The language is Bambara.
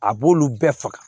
A b'olu bɛɛ faga